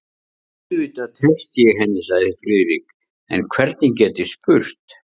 Auðvitað treysti ég henni sagði Friðrik, en hvernig get ég spurt?